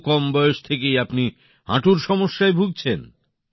এত কম বয়স থেকেই আপনি হাঁটুর সমস্যায় ভুগছেন